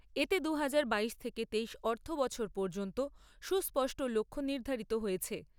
এতে দু হাজার বাইশ তেইশ অর্থবছর পর্যন্ত সুস্পষ্ট লক্ষ্য নির্ধারিত হয়েছে।